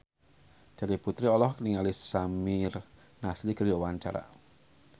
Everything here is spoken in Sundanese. Terry Putri olohok ningali Samir Nasri keur diwawancara